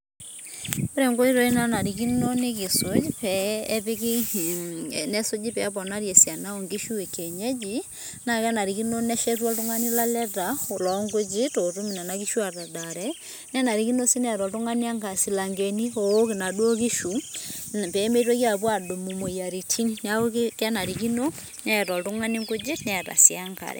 Ore nkoitoi naanarikino nikisuj pee epiki mmh nesuji peeponari esiana oonkishu ekienyeji, naa kenarikino neshetu oltung'ani laleta loonkujit ootum nena kishu atadaare nenarikino sii neeta oltung'ani silankeni oowok inaduo kishu peemeitoki aapuo aadumu moyiaritin. Neeku kenarikino neeta oltung'ani nkujit neeta sii enkare.